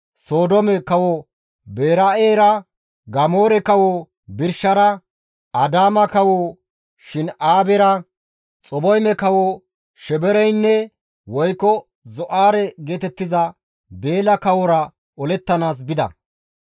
Sodoome kawo Beera7era, Gamoora kawo Birshara, Adaama kawo Shin7aabera, Xaboyme kawo Shemebeereynne (Zo7aare geetettiza) Beela kawora olettanaas bida.